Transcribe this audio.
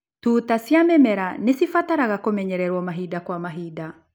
Tuta cia mĩmera nĩcibataraga kũmenyererwo mahinda kwa mahinda.